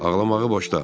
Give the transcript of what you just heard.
Ağlamağı boşda.